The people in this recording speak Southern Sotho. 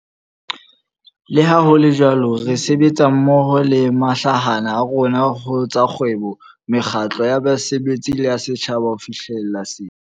Leha ho le jwalo, re sebetsa mmoho le mahlahana a rona ho tsa kgwebo, mekgatlo ya basebetsi le ya setjhaba ho fihlela sena.